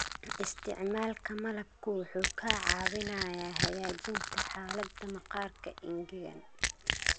Isticmaalka malabku wuxuu kaa caawinayaa hagaajinta xaaladda maqaarka engegan.